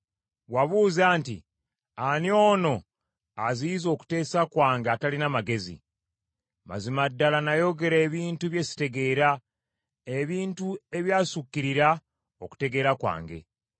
Wabuuza nti, ‘Ani ono aziyiza okuteesa kwange atalina magezi?’ Mazima ddala nayogera ebintu bye sitegeera, ebintu ebyassukirira okutegeera kwange.